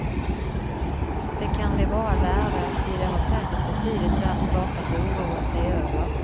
Det kan de vara värda, ty de har säkert betydligt värre saker att oroa sig över.